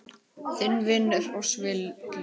Þinn vinur og svili.